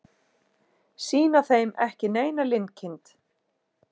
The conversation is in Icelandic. Sýna þeim ekki neina linkind.